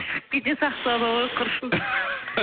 шығып кете сақтады ғой құрсын